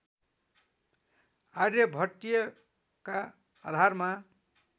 आर्यभट्टीयका आधारमा